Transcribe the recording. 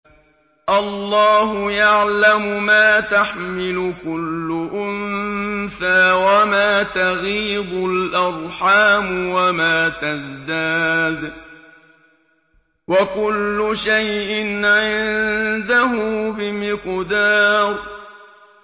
اللَّهُ يَعْلَمُ مَا تَحْمِلُ كُلُّ أُنثَىٰ وَمَا تَغِيضُ الْأَرْحَامُ وَمَا تَزْدَادُ ۖ وَكُلُّ شَيْءٍ عِندَهُ بِمِقْدَارٍ